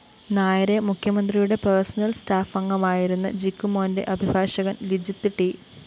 നായരെ മുഖ്യമന്ത്രിയുടെ പേർസണൽ സറ്റ്ാഫംഗമായിരുന്ന ജിക്കുമോന്റെ അഭിഭാഷകന്‍ ലിജിത്ത് ട്‌